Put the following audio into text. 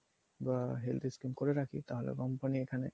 বা health skim করে রাখি তাহলে company এখানে